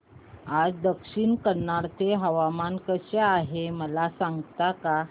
आज दक्षिण कन्नड चे हवामान कसे आहे मला सांगता का